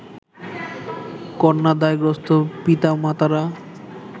কন্যাদায়গ্রস্ত পিতামাতারা